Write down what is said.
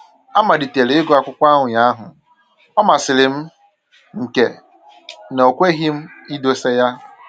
Amalitere ịgụ akwụkwọ ụnyahụ, ọ masịrị m nke na o kweghị m idosa ya